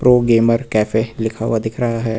Pro gamer cafe लिखा हुआ दिख रहा है।